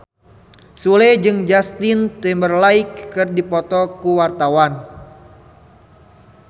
Sule jeung Justin Timberlake keur dipoto ku wartawan